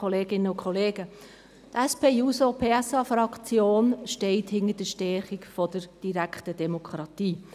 Die SP-JUSO-PSA-Fraktion steht hinter der Stärkung der direkten Demokratie.